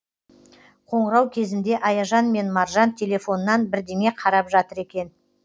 қоңырау кезінде аяжан мен маржан телефоннан бірдеңе қарап жатыр екен